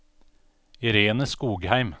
Irene Skogheim